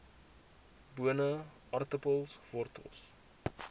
bone aartappels wortels